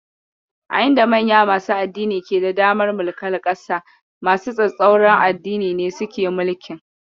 A inda manya masu addini ke da damar mulkar ƙasa, masu tsatstsauran addini ne suke mulkin.